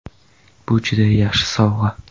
Bu juda yaxshi sovg‘a”.